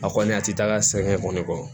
A kɔni a tɛ taa ka sɛgɛn kɔni kɔ